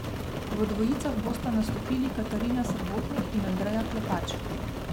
V dvojicah bosta nastopili Katarina Srebotnik in Andreja Klepač.